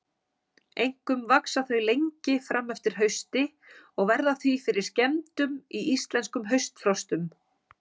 Einkum vaxa þau lengi fram eftir hausti og verða því fyrir skemmdum í íslenskum haustfrostum.